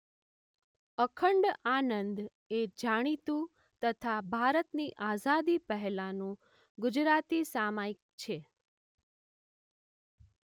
અખંડ આનંદ એ જાણીતું તથા ભારતની આઝાદી પહેલાનું ગુજરાતી સામાયિક છે.